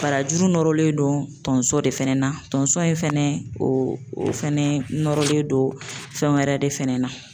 Barajuru nɔrɔlen don tonso de fɛnɛ na, tonso in fɛnɛ o fɛnɛ nɔrɔlen don fɛnwɛrɛ de fɛnɛ na.